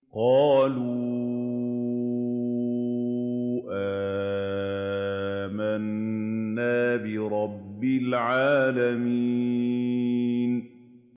قَالُوا آمَنَّا بِرَبِّ الْعَالَمِينَ